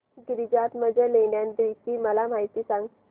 गिरिजात्मज लेण्याद्री ची मला माहिती सांग